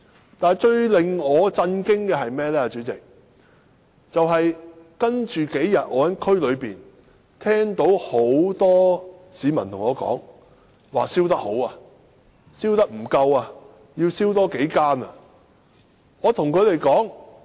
主席，最令我感到震驚的是接下來的數天，我聽到很多市民向我表示"燒得好"和燒得不夠多，應多燒數間。